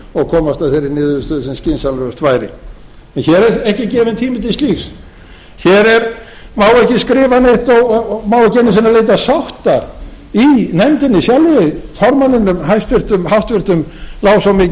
og komast að þeirri niðurstöðu sem skynsamlegust væri hér er ekki gefinn tími til slíks hér má ekki skrifa neitt og má ekki einu sinni leita sátta í nefndinni sjálfri formanninum háttvirta lá svo mikið á að hann